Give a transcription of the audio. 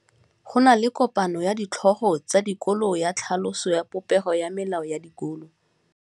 Go na le kopanô ya ditlhogo tsa dikolo ya tlhaloso ya popêgô ya melao ya dikolo.